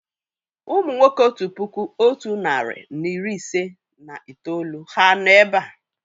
Ụmụ nwoke otu puku otu narị na iri ise na itoolu ha nọ̀ èbé à?